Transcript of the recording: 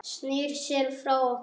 Snýr sér frá okkur.